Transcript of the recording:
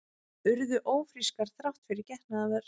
Urðu ófrískar þrátt fyrir getnaðarvörn